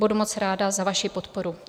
Budu moc ráda za vaši podporu.